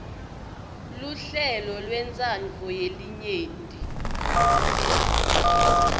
luhlelo lwentsandvo yelinyenti